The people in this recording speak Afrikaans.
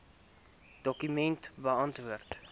dokument beantwoord